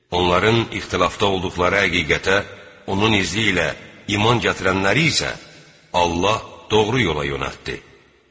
Onların ixtilafda olduqları həqiqətə onun izi ilə iman gətirənləri isə Allah doğru yola yönəltdi.